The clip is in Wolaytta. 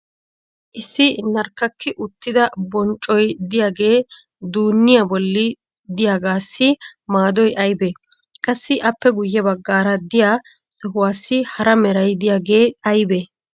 issi narkkakki uttida bonccoy diyaagee duuniya boli diyaagaassi maadoy aybee? qassi appe guye bagaara diya sohuwaassi hara meray diyaagee aybee?